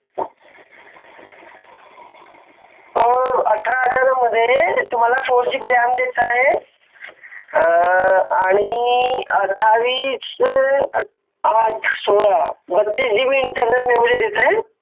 तो अठरा हजारांमध्ये तुम्हाला फोर GB ram देत आहे अ आणी अठ्ठाविसशे आठ सोळा बत्तिस GBInternal memory देत आहे